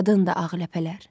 Qanadındır ağ ləpələr.